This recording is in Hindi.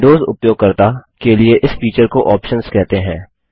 विंडोज़ उपयोगकर्ता के लिए इस फीचर को Optionsऑप्शंस कहते हैं